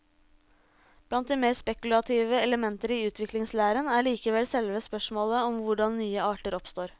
Blant de mer spekulative elementer i utviklingslæren er likevel selve spørsmålet om hvordan nye arter oppstår.